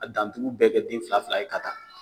A dantugu bɛɛ kɛ den fila fila ye ka taa